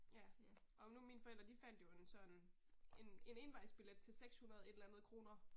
Ja. Om nu mine forældre de fandt jo en så en, en en envejsbillet til 600 et eller andet kroner